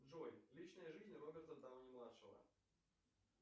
джой личная жизнь роберта дауни младшего